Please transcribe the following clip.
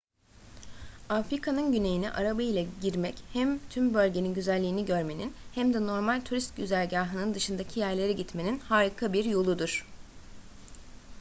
afrika'nın güneyine araba ile girmek hem tüm bölgenin güzelliğini görmenin hem de normal turist güzergahının dışındaki yerlere gitmenin harika bir yoludur